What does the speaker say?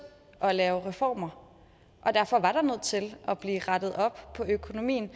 at lave reformer og derfor var der nødt til at blive rettet op på økonomien